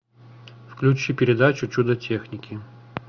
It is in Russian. включи передачу чудо техники